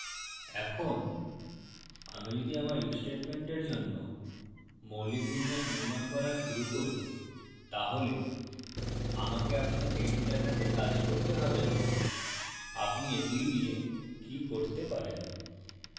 এখন আমি যদি আমার if স্টেটমেন্টের জন্য মৌলিক বিন্যাস নির্মান করা শুরু করি তাহলে আমাকে আপনাকে এটি দেখাতে কাজ করতে হবে যে আপনি এগুলি দিয়ে কি করতে পারেন